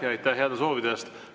Ja aitäh heade soovide eest!